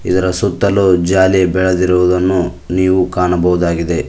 ಇದರ ಸುತ್ತಲು ಜಾಲಿ ಬೆಳೆದಿರುವುದನ್ನು ನೀವು ಕಾಣಬಹುದಾಗಿದೆ.